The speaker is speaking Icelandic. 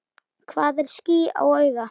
Hvað er ský á auga?